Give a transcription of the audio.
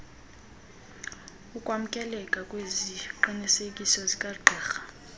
ukwamkeleka kweziqinisekiso zikagqirha